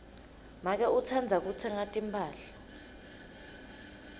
make utsandza kutsenga timphahla